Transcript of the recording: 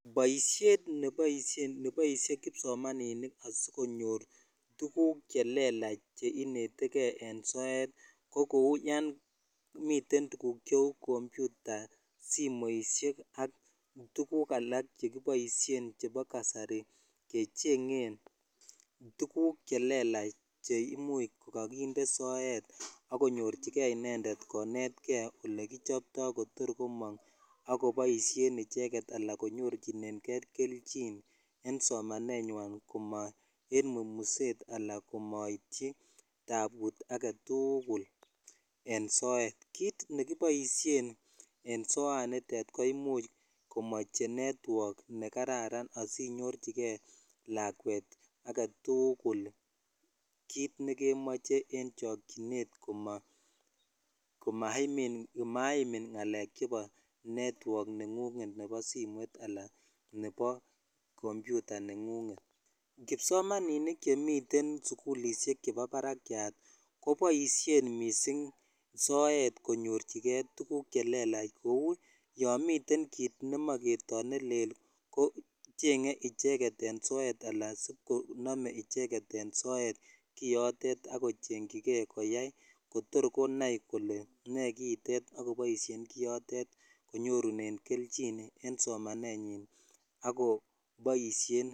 Boisheet neboishe kipsomaninik asigonyoor tuguuk chelelach cheinetegee en soeet ko kouu yaan komiten tuguuk cheuu kompyuta, simoisheek ak tuguuk alak chegiboisheen chebo kasari kecheng'een tuguul alak chelelach cheimuch kogaginde soeet ak konyorchigee inendeet koneet gee elegichoptoo kotor komong ak koboisheen ichegeet anan konyorchigee kelchiin en somanenywaan komaa en ngunguiseet anaan komoityi tabuut agetuguul en soet, kiit negiboisheen en soaniteet koimuch komoche network negararan asinyorchigee lakweet agetugul kiit negemoche en chokyineet komaimin ngaleek ab network neng'ung'et nebo simooit alaan nebo kompyuta neng'ung'eet, kipsomaninik chemiten sugulishek chebo barakyaat, iih koboisheen mising soeet konyorchigee tuguuk chelelach kouu yoon miteen kiit nemoe ketoo nelel kocheng'e ichegeet en soeet alaan siip konome ichegeet en soet yootet ak kochengyigee konaai kotor konaai kole nee kiiteet ak koboisheen kiyotet konyorunen kelchin en somanetnyin ak koboishen.